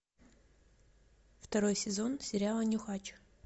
второй сезон сериала нюхач